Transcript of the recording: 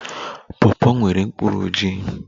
Pawpaw nwere mkpụrụ ojii